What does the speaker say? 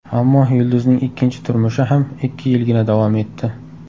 Ammo yulduzning ikkinchi turmushi ham ikki yilgina davom etdi.